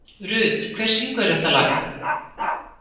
Rut, hver syngur þetta lag?